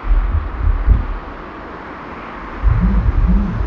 ore enkiremore o nkaitubulu naa sidai toonkongat